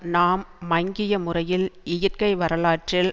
நாம் மங்கிய முறையில் இயற்கை வரலாற்றில்